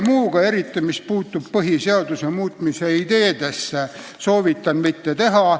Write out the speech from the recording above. Muuga, eriti mis puutub põhiseaduse muutmise ideedesse, soovitan mitte tegeleda.